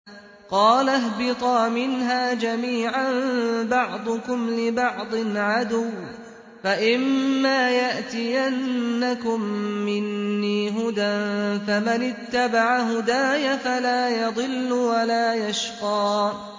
قَالَ اهْبِطَا مِنْهَا جَمِيعًا ۖ بَعْضُكُمْ لِبَعْضٍ عَدُوٌّ ۖ فَإِمَّا يَأْتِيَنَّكُم مِّنِّي هُدًى فَمَنِ اتَّبَعَ هُدَايَ فَلَا يَضِلُّ وَلَا يَشْقَىٰ